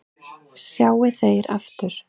sjá þeir aftur